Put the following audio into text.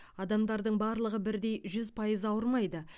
адамдардың барлығы бірдей жүз пайыз ауырмайды